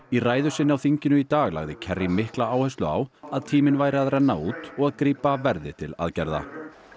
í ræðu sinni á þinginu í dag lagði mikla áherslu á að tíminn væri að renna út og að grípa verði til aðgerða